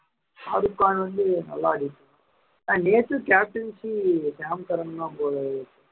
ஷாருக்கான் வந்து நல்லா ஆடிருக்கான் ஆனா நேத்தும் captiancy ஷ்யாம்சரன் தான் போல இருக்கு